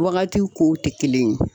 Waagatiw kow tɛ kelen ye.